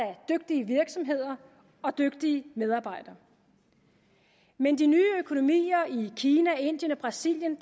dygtige virksomheder og dygtige medarbejdere men de nye økonomier i kina indien og brasilien